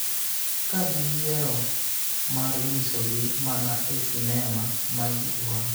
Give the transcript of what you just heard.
ka giyiero mar nyisogi mana e sinema ma ji dwaro